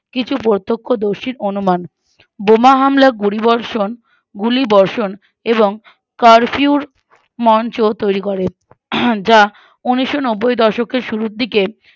কিছু প্রতক্ষ দর্শীর অনুমান বোমা হামলা গুলিবর্ষণ গুলিবর্ষণ এবং Curfew এর মঞ্চ তৈরী করে আহ যা ঊনিশনব্বৈ দশকের শুরুর দিকে